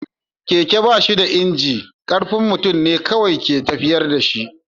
Keke ba shi da inji, ƙarfin mutum ne kawai ke tafiyar da shi.